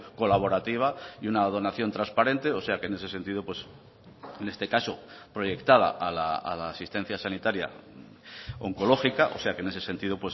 colaborativa y una donación transparente o sea que en ese sentido en este caso proyectada a la asistencia sanitaria oncológica o sea que en ese sentido